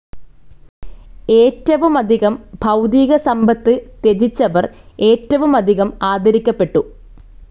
ഏറ്റവുമധികം ഭൗതികസമ്പത്ത് ത്യജിച്ചവർ ഏറ്റവുമധികം ആദരിക്കപ്പെട്ടു.